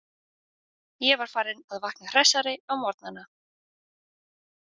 Ég var farinn að vakna hressari á morgnana.